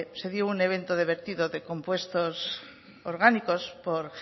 se dio un evento de vertido de compuestos orgánicos por